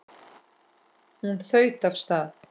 Hún þaut af stað.